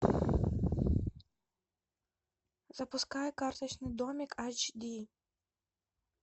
запускай карточный домик айч ди